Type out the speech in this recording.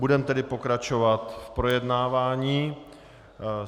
Budeme tedy pokračovat v projednávání.